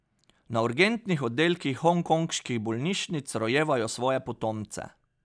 Na urgentnih oddelkih hongkonških bolnišnic rojevajo svoje potomce.